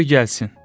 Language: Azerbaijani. Qoy gəlsin.